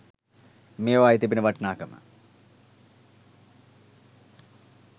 මේවායේ තිබෙන වටිනාකම